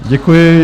Děkuji.